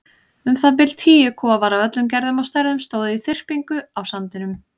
Um það bil tíu kofar af öllum gerðum og stærðum stóðu í þyrpingu á sandinum.